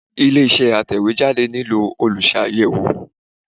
Ilé iṣẹ́ Atẹ̀wé ìròyìn nílò Olùṣàyẹ̀wò